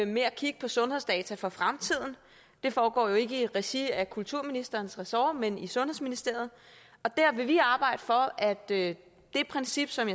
med at kigge på sundhedsdata for fremtiden det foregår jo ikke i regi af kulturministerens resort men i sundhedsministeriet og der vil vi arbejde for at det princip som